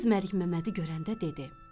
Qız Məlikməmmədi görəndə dedi: